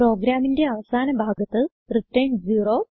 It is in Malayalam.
പ്രോഗ്രാമിന്റെ അവസാന ഭാഗത്ത് റിട്ടർൻ 0